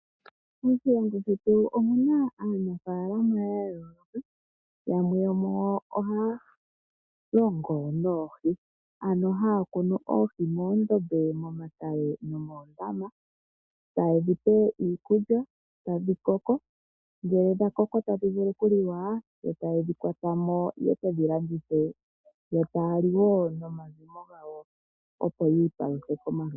Moshilongo shetu omu na aanafaalama ya yooloka. Yamwe yomu yo ohaya longo noohi. Ohaya kunu oohi moondombe, momatale nomoondama taye dhi pe iikulya, tadhi koko, ngele dha koko tadhi vulu okuliwa yo taye dhi kwata mo ye ke dhi landithe, yo taya li nomazimo gawo, opo yi ipaluthe komalutu.